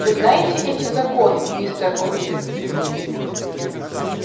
вы знаете эти законы мистер куинн